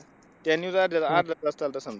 त्या news अर्धा अर्धा तास चालतात.